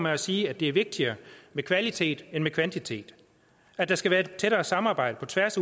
at sige at det er vigtigere med kvalitet end med kvantitet at der skal være et tættere samarbejde på tværs